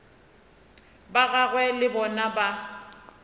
ba gagwe le bona ba